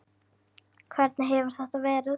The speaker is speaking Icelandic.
Hvernig hefur þetta verið?